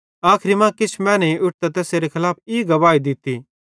आखरी मां किछ मैनेईं उठतां तैसेरे खलाफ ई झूठी गवाही दित्ती कि